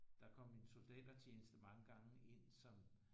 Der kom en soldatertjeneste mange gange ind som